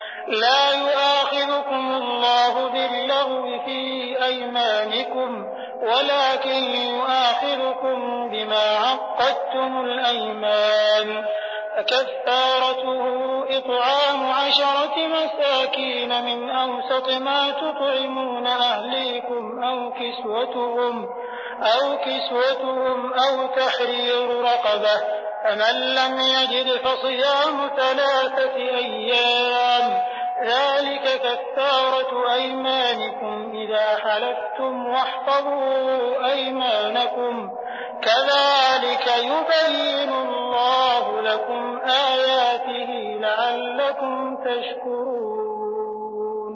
لَا يُؤَاخِذُكُمُ اللَّهُ بِاللَّغْوِ فِي أَيْمَانِكُمْ وَلَٰكِن يُؤَاخِذُكُم بِمَا عَقَّدتُّمُ الْأَيْمَانَ ۖ فَكَفَّارَتُهُ إِطْعَامُ عَشَرَةِ مَسَاكِينَ مِنْ أَوْسَطِ مَا تُطْعِمُونَ أَهْلِيكُمْ أَوْ كِسْوَتُهُمْ أَوْ تَحْرِيرُ رَقَبَةٍ ۖ فَمَن لَّمْ يَجِدْ فَصِيَامُ ثَلَاثَةِ أَيَّامٍ ۚ ذَٰلِكَ كَفَّارَةُ أَيْمَانِكُمْ إِذَا حَلَفْتُمْ ۚ وَاحْفَظُوا أَيْمَانَكُمْ ۚ كَذَٰلِكَ يُبَيِّنُ اللَّهُ لَكُمْ آيَاتِهِ لَعَلَّكُمْ تَشْكُرُونَ